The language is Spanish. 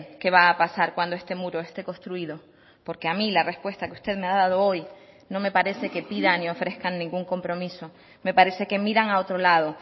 que va a pasar cuando este muro esté construido porque a mí la respuesta que usted me ha dado hoy no me parece que pidan y ofrezcan ningún compromiso me parece que miran a otro lado